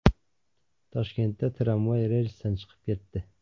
Toshkentda tramvay relsdan chiqib ketdi.